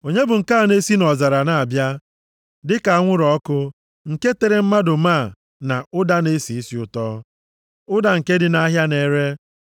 Onye bụ nke a na-esi nʼọzara na-abịa dịka anwụrụ ọkụ, nke tere mmanụ máá na ụda na-esi isi ụtọ, ụda nke ndị ahịa na-ere?